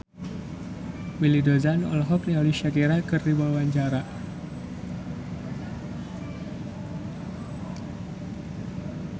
Willy Dozan olohok ningali Shakira keur diwawancara